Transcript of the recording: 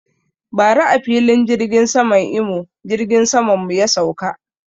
Bara a filin jirgin saman Imo jirgin saman mu ya sauka